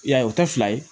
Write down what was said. I y'a ye o tɛ fila ye